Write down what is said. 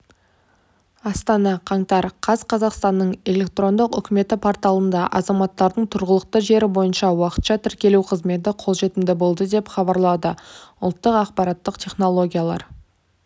астана қаңтар қаз қазақстанның электрондық үкіметі порталында азаматтардың тұрғылықты жері бойынша уақытша тіркелу қызметі қолжетімді болды деп хабарлады ұлттық ақпараттық технологиялар